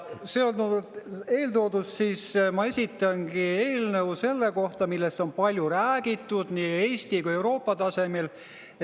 Seonduvalt eeltooduga ma esitangi eelnõu selle kohta, millest on palju räägitud nii Eesti kui ka Euroopa tasemel.